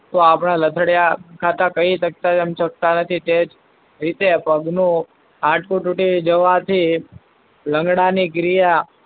તો આપણા લથાડીયા ખાતા કહી શકતા નથી. તે જ રીતે પગનું હાડકું તૂટી જવાથી લંગડાવા ની ક્રિયા,